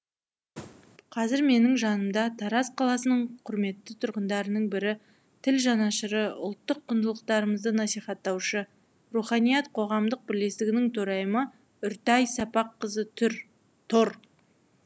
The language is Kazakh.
қазір менің жанымда тараз қаласының құрметті тұрғындарының бірі тіл жанашыры ұлттық құндылықтарымызды насихаттаушы руханият қоғамдық бірлестігінің төрайымы үртай сапаққызы тұр